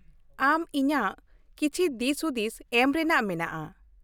ᱟᱢ ᱤᱧᱟᱹᱜ ᱠᱤᱪᱷᱤ ᱫᱤᱥ ᱦᱩᱫᱤᱥ ᱮᱢ ᱨᱮᱱᱟᱜ ᱢᱮᱱᱟᱜᱼᱟ ᱾